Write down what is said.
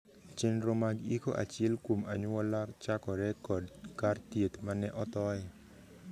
Chenro mag iko achiel kuom anyuola chakore kod kar thieth mane othoye.